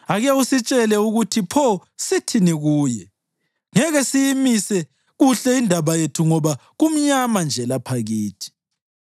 Ake usitshele ukuthi pho sithini kuye; ngeke siyimise kuhle indaba yethu ngoba kumnyama nje lapha kithi.